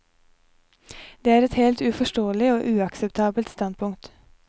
Det er et helt uforståelig og uakseptabelt standpunkt.